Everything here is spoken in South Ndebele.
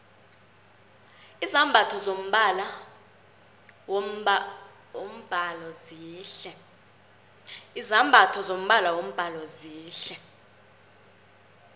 izambatho zombala wombhalo zihle